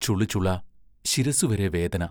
ചുളുചുളാ ശിരസ്സുവരെ വേദന..